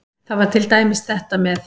Það var til dæmis þetta með